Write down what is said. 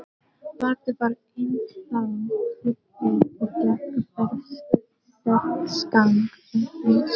Baddi var ennþá fullur og gekk berserksgang um húsið.